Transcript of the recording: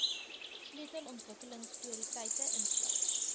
sleutel ontwikkelingsprioriteite insluit